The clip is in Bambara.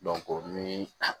o ni